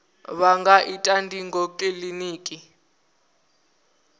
vha nga ita ndingo kiliniki